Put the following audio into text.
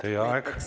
Teie aeg!